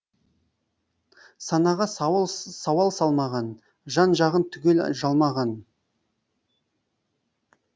санаға сауал сауал салмаған жан жағын түгел жалмаған